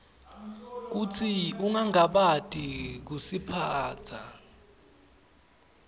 kutsi ungangabati kusitsintsa